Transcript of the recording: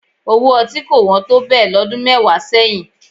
Owó ọtí kò wọ́n tó bẹ́ẹ̀ lọ́dún mẹ́wàá sẹ́yìn